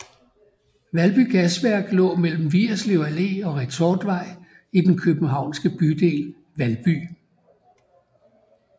Valby Gasværk lå mellem Vigerslev Allé og Retortvej i den københavnske bydel Valby